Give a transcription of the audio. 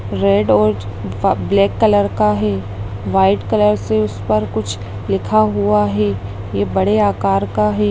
Red और ब black colour का है व्हाइट कलर से उस पर कुछ लिखा हुआ है ये बड़े आकार का है।